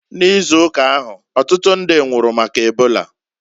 N'ịzụụka ahu, ọtụtụ ndi nwụrụ maka ebola.